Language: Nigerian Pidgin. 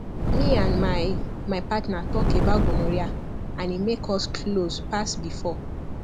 me and my my partner talk about gonorrhea and e make us close pass before